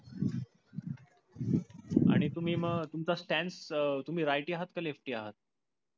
आणि तुम्ही मग तुमच stands तुम्ही righty हाथ काय lefty हाथ,